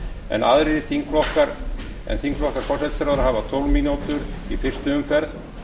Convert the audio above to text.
en aðrir þingflokkar en þingflokkar forsætisráðherra hafa tólf mínútur í fyrstu umferð